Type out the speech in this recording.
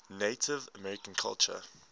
native american culture